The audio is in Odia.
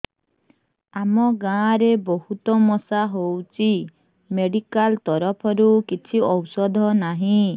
ଆମ ଗାଁ ରେ ବହୁତ ମଶା ହଉଚି ମେଡିକାଲ ତରଫରୁ କିଛି ଔଷଧ ନାହିଁ